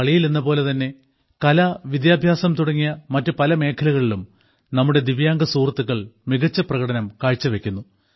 കളിയിൽ എന്നപോലെതന്നെ കല വിദ്യാഭ്യാസം മറ്റു പല മേഖലകളിലും നമ്മുടെ ദിവ്യാംഗ സുഹൃത്തുക്കൾ മികച്ച പ്രകടനം കാഴ്ച വെയ്ക്കുന്നു